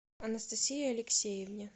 анастасии алексеевне